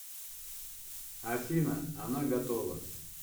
афина она готова